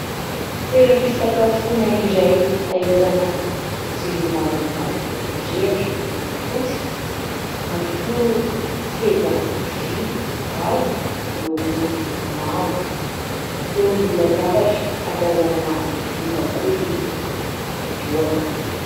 Toeram-pisakafoana iray ahitana jiro maromaro mirehitra, miloko fotsy ary koa seza vy avo miloko mavo, eo ambony latabatra ahatazanana vilia bakoly mihohoka.